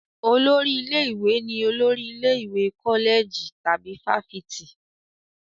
Olórí ilé-ìwé ni olórí ilé ìwé kọ́lẹ̀jì tàbí fáfitì.